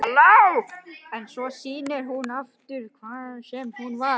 En svo snýr hún aftur, hvaðan sem hún var.